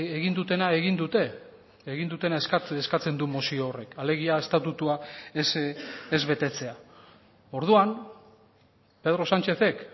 egin dutena egin dute egin dutena eskatzen du mozio horrek alegia estatutua ez betetzea orduan pedro sanchezek